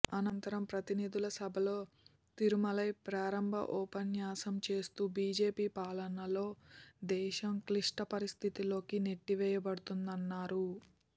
అనంతరం ప్రతినిధుల సభలో తిరుమలై ప్రారంభ ఉపన్యాసం చేస్తూ బీజేపీ పాలనలో దేశం క్లిష్ట పరిస్థితుల్లోకి నెట్టివేయ బడుతోందన్నారు